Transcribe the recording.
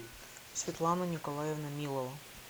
светлана николаевна милова